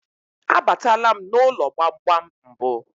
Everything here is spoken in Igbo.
A batala m n'ụlọ gbamgbam mbụ.